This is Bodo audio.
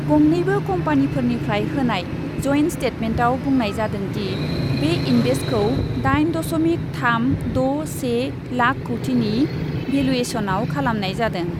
गंनैबो कम्पानिफोरनिफ्राय होनाय जयेन्ट स्टेटमेन्टआव बुंनाय जादों दि, बे इन्भेस्टखौ दाइन दशमिक थाम द' से लाख कौटिनि भेलुएसनआव खालामनाय जादों।